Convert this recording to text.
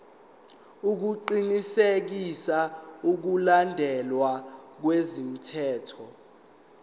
ukuqinisekisa ukulandelwa kwemithetho